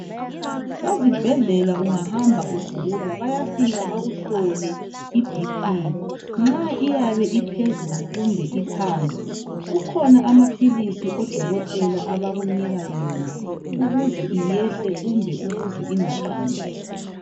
Ezibhedlela ungahamba ugula bayafika bakuhlole iBp nxa iyabe iphezulu kumbe iphansi kukhona amaphilisi odokotela abakunika wona ukuze iyehle kumbe ukuze ingaqansi.